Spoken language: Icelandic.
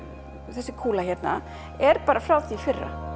þessi kúla hérna er bara frá því í fyrra